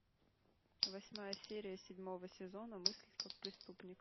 восьмая серия седьмого сезона мыслить как преступник